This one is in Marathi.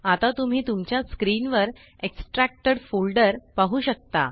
आता तुम्ही तुमच्या स्क्रीन वर एक्स्ट्रॅक्टेड फोल्डर पाहु शकता